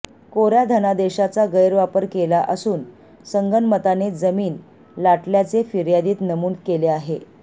कोऱ्या धनादेशाचा गैरवापर केला असून संगनमताने जमीन लाटल्याचे फिर्यादीत नमूद केले आहे